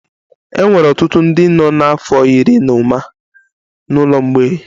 E nwere ọtụtụ ndị nọ n'afọ iri na ụma n'ụlọ mgbei